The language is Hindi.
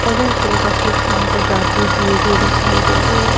ऑरेंज कलर का सूट पेहन कर जाती हुई भी दिखाई दे रही है।